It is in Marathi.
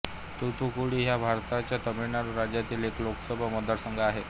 तूतुकुडी हा भारताच्या तमिळनाडू राज्यातील एक लोकसभा मतदारसंघ आहे